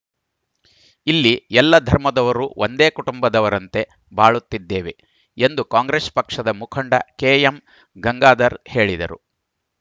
ಇಲ್ಲಿ ಎಲ್ಲ ಧರ್ಮದವರೂ ಒಂದೇ ಕುಟುಂಬದವರಂತೆ ಬಾಳುತ್ತಿದ್ದೇವೆ ಎಂದು ಕಾಂಗ್ರೆಸ್‌ ಪಕ್ಷದ ಮುಖಂಡ ಕೆಎಂ ಗಂಗಾಧರ್‌ ಹೇಳಿದರು